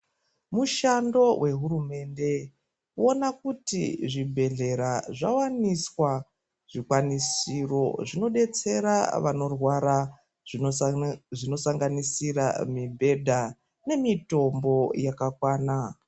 Mushando wehurumende kuona kuti zvibhehlera zvawaniswa zvikwanisiro zvinodetsera vanorwara zvinosanganisira mibhedha nemitombo yakakwana.